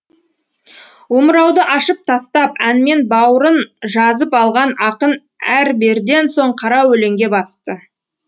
омырауды ашып тастап әнмен баурын жазып алған ақын әрберден соң қара өлеңге басты